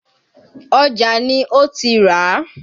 Ọjà ni ó ti ràá.